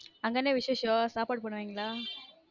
அங்க விச்ஷேசம் சாப்பாடு போடுவீங்களா